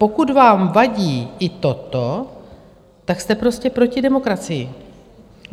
Pokud vám vadí i toto, tak jste prostě proti demokracii.